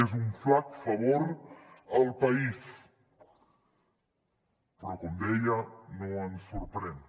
és un flac favor al país però com deia no ens sorprèn